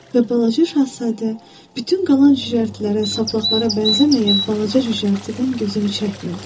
Və balaca şahzadə bütün qalan cücərtilərə, saplaqlara bənzəməyən balaca cücərtidən gözünü çəkmirdi.